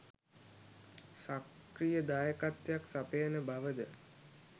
සක්‍රීය දායකත්වයක් සපයන බවද